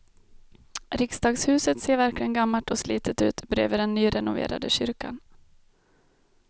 Riksdagshuset ser verkligen gammalt och slitet ut bredvid den nyrenoverade kyrkan.